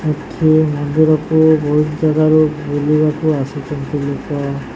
ଏଠି ମନ୍ଦିରକୁ ବହୁତ ଜାଗାରୁ ବୁଲିବାକୁ ଆସିଚନ୍ତି ଲୋକ।